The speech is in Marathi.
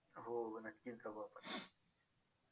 अ समाजाच्या कल्याणाकरिता त्यांनी स्वतंत्र चळवळीत भाग घेतला.